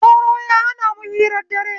Sauro ya hanamu hirar dare